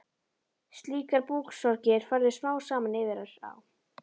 Slíkar búksorgir færðust smám saman yfir á